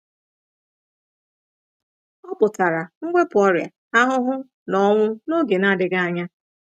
Ọ pụtara mwepụ ọrịa, ahụhụ, na ọnwụ n’oge na-adịghị anya.